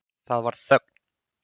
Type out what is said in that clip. Það varð þögn.